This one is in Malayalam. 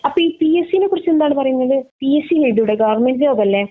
അപ്പൊ ഈ പി സ് സിയെ കുറിച്ച എന്താണ് പറയുന്നത് പി സ് സി എഴുതി കൂടെ ഗോവെര്മെന്റ് ജോബ് അല്ലെ